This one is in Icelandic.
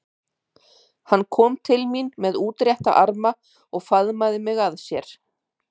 Hann kom til mín með útrétta arma og faðmaði mig að sér.